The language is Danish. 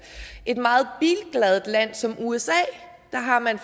et meget bilglad land som usa har man